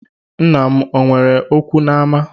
Nna m o nwere okwu n’ama?